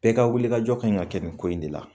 Bɛɛ ka wulikajɔ kaɲi ka kɛ nin ko in de la.